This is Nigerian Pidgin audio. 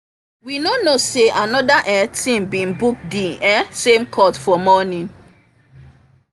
um i just um start to um dey warm up wen oga principal waka enter field